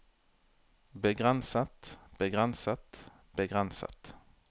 begrenset begrenset begrenset